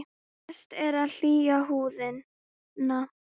Best er að hylja húðina.